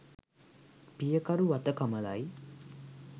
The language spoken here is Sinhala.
පියකරු වත කමලයි.